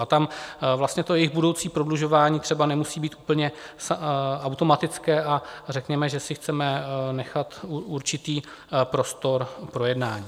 A tam vlastně to jejich budoucí prodlužování třeba nemusí být úplně automatické a řekněme, že si chceme nechat určitý prostor k projednání.